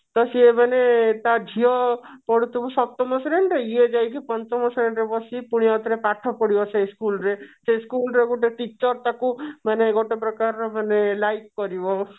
ତ ସିଏ ମନେ ତା ଝିଅ ପଢୁଥିବ ସପ୍ତମ ଶ୍ରେଣୀ ରେ ଏଇ ଯାଇକି ପଞ୍ଚମ ଶ୍ରେଣୀ ରେ ବସିକି ପୁଣି ଆଉଥରେ ପାଠ ପଢିବ ସେଇ school ରେ ସେଇ school ରେ ଗୋଟେ teacher ତାକୁ ମାନେ ଗୋଟେ ପ୍ରକାରର ମାନେ like କରିବ